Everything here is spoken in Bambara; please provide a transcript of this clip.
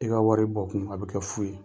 E ka wari bɔ kun a bɛ kɛ fu ye.